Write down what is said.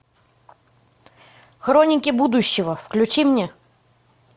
хроники будущего включи мне